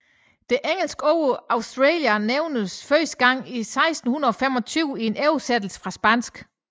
Det engelske ord Australia nævnes første gang i 1625 i en oversættelse fra spansk